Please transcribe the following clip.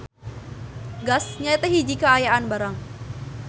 Gas nyaeta hiji kaayaan barang.